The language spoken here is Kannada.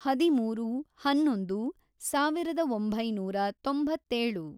ಹದಿಮೂರು, ಹನ್ನೊಂದು, ಸಾವಿರದ ಒಂಬೈನೂರ ತೊಂಬತ್ತೇಳು